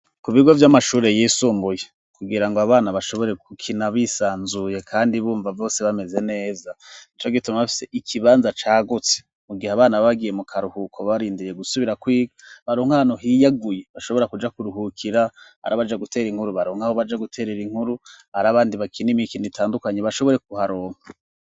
Ku bigo by'amashuri yisumbuye, kugira ngo abana bashobore kukina bisanzuye kandi bumva bose bameze neza, nico gituma bafise ikibanza cagutse mu gihe abana bagiye mu karuhuko barindiye gusubira kwiga baronkano hiyaguye bashobora kuja kuruhukira ari abaja gutera inkuru baronke aho baja guterera inkuru ari abandi bakin imi ikini itandukanye bashobore kuharonka.